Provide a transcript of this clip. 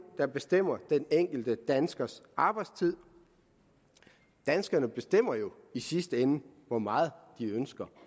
der bestemmer den enkelte danskers arbejdstid danskerne bestemmer jo i sidste ende hvor meget de ønsker